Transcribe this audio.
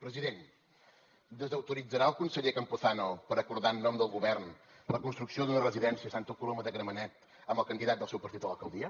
president desautoritzarà el conseller campuzano per acordar en nom del govern la construcció d’una residència a santa coloma de gramenet amb el candidat del seu partit a l’alcaldia